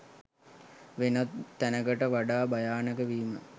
වෙනත් තැනකට වඩා භයානක වීම